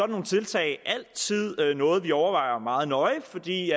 nogle tiltag altid noget vi overvejer meget nøje fordi